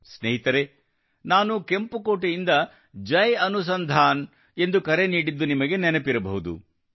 ಸ್ನೇಹಿತರೇ ನಾನು ಕೆಂಪುಕೋಟೆಯಿಂದ ಜೈ ಅನುಸಂಧಾನ್ ಎಂದು ಕರೆ ನೀಡಿದ್ದು ನಿಮಗೆ ನೆನಪಿರಬಹುದು